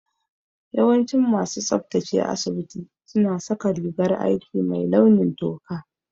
Yawancin masu tsabtace asibiti su na saka rigar aiki mai launin toka